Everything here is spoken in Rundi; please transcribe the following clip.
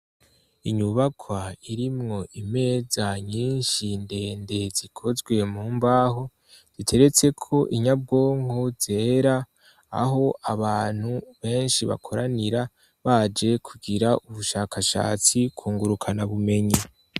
Inyubakwa irimwo imeza nyinshi ndende zikozwe mu mbaho, ziteretseko inyabwonko zera, aho abantu benshi bakoranira baje kugira ubushakashatsi ku ngurukanabumenyi.